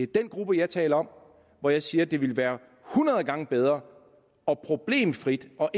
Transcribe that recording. den gruppe jeg taler om og her siger jeg at det vil være hundrede gange bedre og problemfrit og